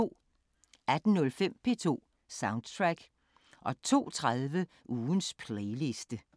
18:05: P2 Soundtrack 02:30: Ugens playliste